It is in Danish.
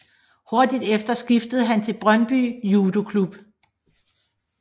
Hurtigt efter skiftede han til Brøndby Judoklub